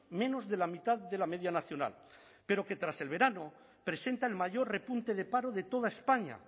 menos de la mitad de la media nacional pero que tras el verano presenta el mayor repunte de paro de toda españa